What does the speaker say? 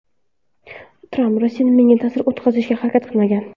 Tramp: Rossiya menga ta’sir o‘tkazishga harakat qilmagan.